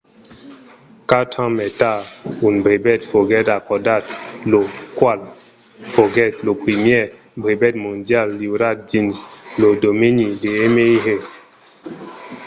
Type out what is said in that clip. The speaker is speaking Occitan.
quatre ans mai tard un brevet foguèt acordat lo qual foguèt lo primièr brevet mondial liurat dins lo domeni de mri